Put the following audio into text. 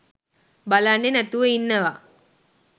බලන්නේ නැතිව ඉන්නවා.